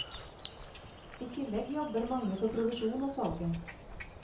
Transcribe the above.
I tillegg jobber mange for provisjon av salget.